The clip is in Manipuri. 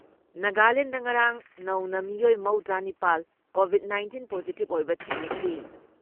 ꯅꯥꯒꯥꯂꯦꯟꯗ ꯉꯔꯥꯡ ꯅꯧꯅ ꯃꯤꯑꯣꯏ ꯃꯧꯗ꯭ꯔꯥ ꯅꯤꯄꯥꯜ ꯀꯣꯚꯤꯠ ꯅꯥꯏꯟꯇꯤꯟ ꯄꯣꯖꯤꯇꯤꯞ ꯑꯣꯏꯕ ꯊꯦꯡꯅꯈꯤ,